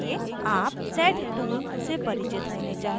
आप sed tool से परिचित होने चाहिए